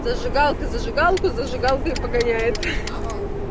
зажигалка зажигалку зажигалкой погоняет